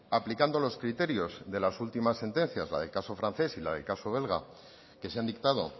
aplicando los criterios de las últimas sentencias la del caso francés y la del caso belga que se han dictado